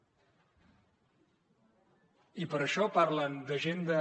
i per això parlen d’agenda